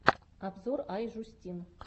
обзор ай жюстин